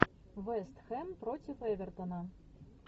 вест хэм против эвертона